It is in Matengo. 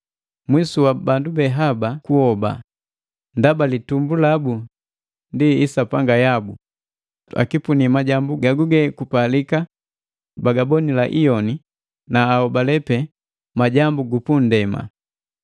Mwisu wa bandu be haba kuhoba, ndaba litumbu labu ndi isapanga yabu, akipuni majambu gaguge kupalika bagabonila giiyoni, na aholale pe majambu gu pundema.